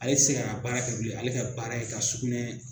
Ale se k'a ka baara kɛ bilen, ale ka baara ye ka sugunɛ